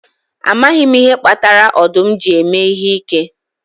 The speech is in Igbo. Amaghị m ihe kpatara ọdụm ji eme ihe ike